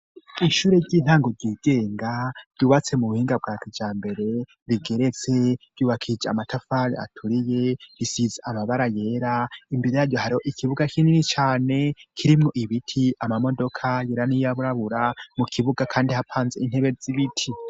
Ishure ry'intango ryigenga ryubatse mu buhinga bwakuja mbere bigeretse ryubakije amatafali aturiye risize amabara yera imbere yaryo hari ikibuga kinini cane kirimo ibiti amamodoka yeraniyaburabura mu kibuga, kandi hapanze intebe z'ibiti.